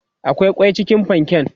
akwai kwai cikin panken?